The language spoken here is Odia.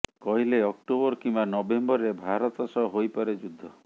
କହିଲେ ଅକ୍ଟୋବର କିମ୍ବା ନଭେମ୍ବରରେ ଭାରତ ସହ ହୋଇପାରେ ଯୁଦ୍ଧ